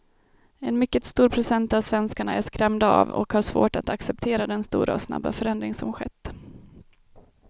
En mycket stor procent av svenskarna är skrämda av och har svårt att acceptera den stora och snabba förändring som skett.